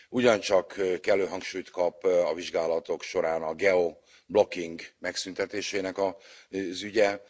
Ugyancsak kellő hangsúlyt kap a vizsgálatok során a geoblocking megszüntetésének az ügye.